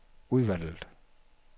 udvalget